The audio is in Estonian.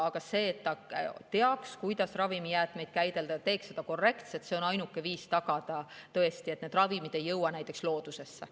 Aga see, et ta teaks, kuidas ravimijäätmeid käidelda, teeks seda korrektselt, on ainuke viis tagada, tõesti, et need ravimid ei jõuaks näiteks loodusesse.